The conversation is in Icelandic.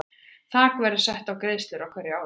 Þak verður sett á greiðslur á hverju ári.